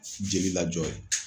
Jeli lajɔ ye.